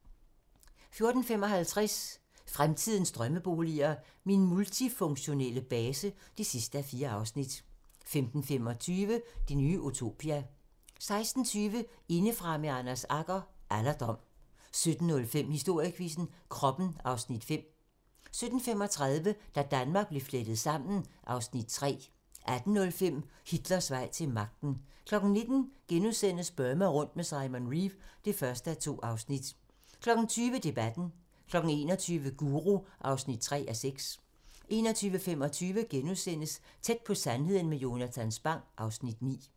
14:55: Fremtidens drømmeboliger: Min multifunktionelle base (4:4) 15:25: Det nye utopia 16:20: Indefra med Anders Agger - Alderdom 17:05: Historiequizzen: Kroppen (Afs. 5) 17:35: Da Danmark blev flettet sammen (Afs. 3) 18:05: Hitlers vej til magten 19:00: Burma rundt med Simon Reeve (1:2)* 20:00: Debatten 21:00: Guru (3:6) 21:25: Tæt på sandheden med Jonatan Spang (Afs. 9)*